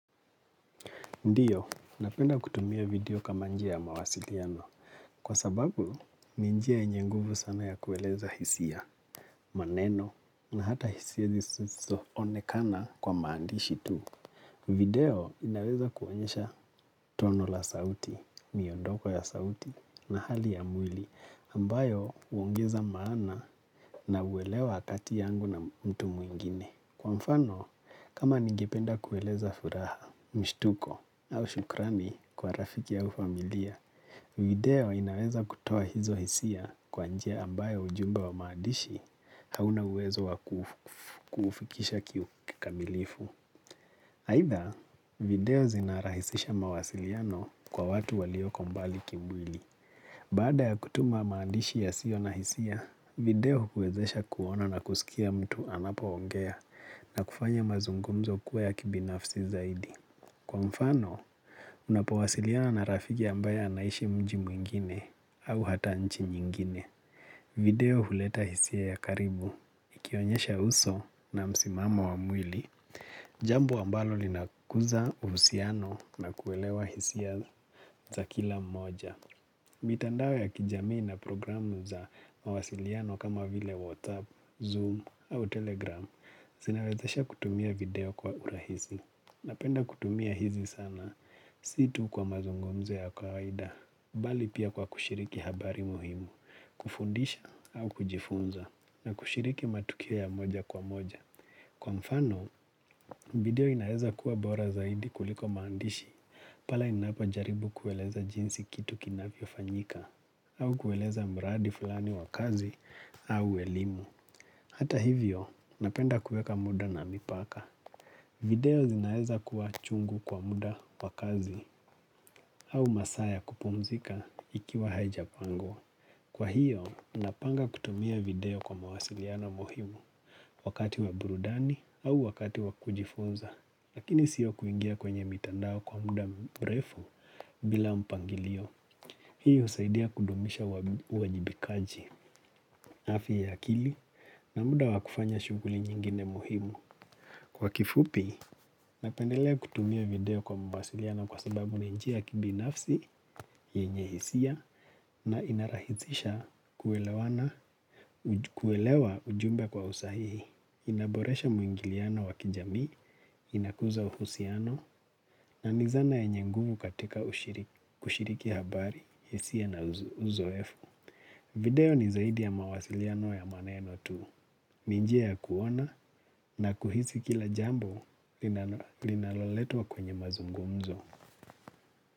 Ndiyo, napenda kutumia video kama njia ya mawasiliano. Kwa sababu, ni njia yenye nguvu sana ya kueleza hisia, maneno, na hata hisia zisizo onekana kwa maandishi tu. Video inaweza kuonyesha tono la sauti, miondoko ya sauti, na hali ya mwili, ambayo uongeza maana na uwelewa akati yangu na mtu mwingine. Kwa mfano, kama ningependa kueleza furaha, mshtuko au shukrani kwa rafiki au familia, video inaweza kutoa hizo hisia kwa njia ambayo ujumbe wa maadishi hauna uwezo wa kufikisha kikamilifu. Aidha, video zinarahisisha mawasiliano kwa watu walioko mbali kimwili. Baada ya kutuma maandishi yasio na hisia, video kwezesha kuona na kusikia mtu anapo ongea na kufanya mazungumzo kuwa ya kibinafsi zaidi. Kwa mfano, unapowasiliana na rafiki ambaye anaishi mji mwingine au hata nchi nyingine. Video huleta hisia ya karibu, ikionyesha uso na msimamo wa mwili, jambo ambalo linakuza uhusiano na kuelewa hisia za kila mmoja. Mitandao ya kijamii na programu za mawasiliano kama vile WhatsApp, Zoom au Telegram Zinawezesha kutumia video kwa urahisi. Napenda kutumia hizi sana si tu kwa mazungumzo ya kawaida bali pia kwa kushiriki habari muhimu kufundisha au kujifunza na kushiriki matukio ya moja kwa moja. Kwa mfano, video inaeza kuwa bora zaidi kuliko maandishi pale inapo jaribu kueleza jinsi kitu kinavyo fanyika au kueleza mradi fulani wakazi au elimu. Hata hivyo, napenda kueka muda na mipaka. Video zinaeza kuwa chungu kwa muda wakazi au masaa ya kupumzika ikiwa haijapangwa. Kwa hiyo, napanga kutumia video kwa mawasiliana muhimu wakati wa burudani au wakati wakujifunza lakini siyo kuingia kwenye mitandao kwa muda mbrefu bila mpangilio. Hii husaidia kudumisha uwajibikaji. Afya ya akili na muda wakufanya shuguli nyingine muhimu. Kwa kifupi, napendelea kutumia video kwa masiliano kwa sababu ninjia kibinafsi, yenye hisia na inarahisisha kuelewa ujumbe kwa usahihi. Inaboresha mwingiliano wakijami, inakuza uhusiano, na ni dhana yenye nguvu katika kushiriki habari, hisia na uzoefu. Video ni zaidi ya mawasiliano ya maneno tu. Nijia ya kuona na kuhisi kila jambo linaloletwa kwenye mazungumzo.